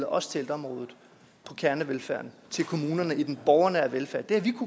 også til ældreområdet på kernevelfærden til kommunerne i den borgernære velfærd det har vi